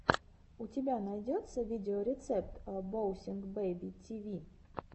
у тебя найдется видеорецепт боунсинг бэби ти ви